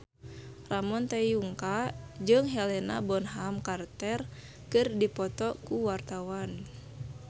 Ramon T. Yungka jeung Helena Bonham Carter keur dipoto ku wartawan